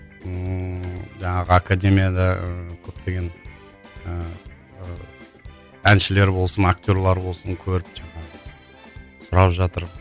ыыы жаңағы академияда көптеген ііі әншілер болсын актерлар болсын көріп жаңағы сұрап жатыр